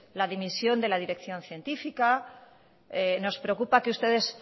la dimisión de la dirección científica nos preocupa que ustedes